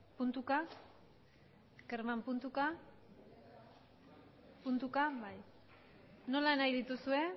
puntuka kerman puntuka puntuka bai nola nahi dituzue